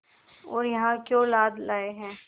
और यहाँ क्यों लाद लाए हैं